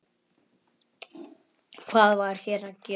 Hvað var hér að gerast?